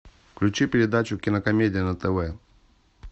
включи передачу кинокомедия на тв